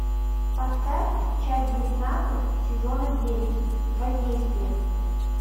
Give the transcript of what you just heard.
поставь часть девятнадцать сезона девять воздействие